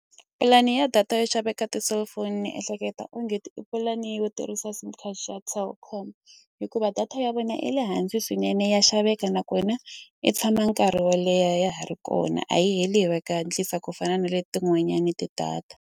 Pulani ya data yo xaveka ti-cellphone ni ehleketa onge ti i pulani yo tirhisa sim card xa Telkom hikuva data ya vona i le hansi swinene ya xaveka nakona i tshama nkarhi wo leha ya ha ri kona a yi heli hi va hatlisa ku fana na le tin'wanyani ti data.